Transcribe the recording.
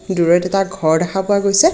দূৰৈত এটা ঘৰ দেখা পোৱা গৈছে।